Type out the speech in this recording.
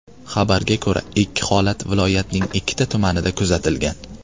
Xabarga ko‘ra, ikki holat viloyatning ikkita tumanida kuzatilgan.